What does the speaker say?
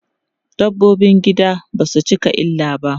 Dabbobin gida basu cika illa ba.